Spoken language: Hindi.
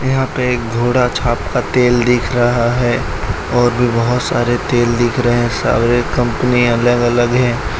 यहां पे एक घोड़ा छाप का तेल दिख रहा है और भी बहोत सारे तेल दिख रहे सारे कंपनी अलग अलग है।